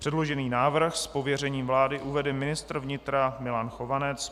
Předložený návrh z pověření vlády uvede ministr vnitra Milan Chovanec.